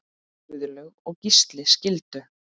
Guðlaug og Gísli skildu.